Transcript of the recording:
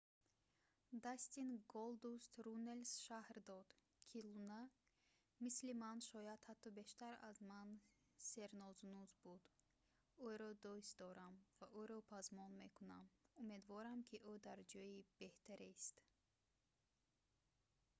дастин голдуст руннелс шарҳ дод ки луна мисли ман...шояд ҳатто бештар аз ман сернозунуз буд...ӯро дӯст дорам ва ӯро пазмон мекунам...умедворам ки ӯ дар ҷои беҳтарест